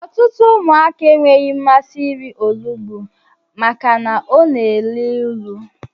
Ọtụtụ ụmụaka enweghị mmasị irí onugbu maka na ọ na-élú ịlụ.